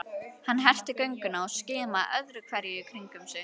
Hann herti gönguna og skimaði öðru hverju í kringum sig.